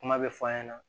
Kuma bɛ fɔ an ɲɛna